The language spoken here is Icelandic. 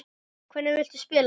Hvernig viltu spila?